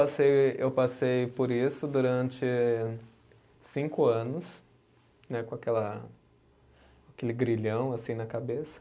Passei, eu passei por isso durante cinco anos né, com aquela, aquele grilhão assim na cabeça.